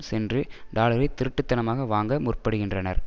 சென்று டாலறை திருட்டுத்தனமாக வாங்க முற்படுகின்றனர்